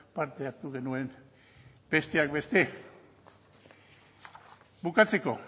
parte hartu genuen besteak beste bukatzeko